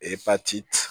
Epatiti